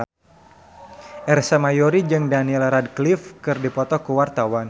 Ersa Mayori jeung Daniel Radcliffe keur dipoto ku wartawan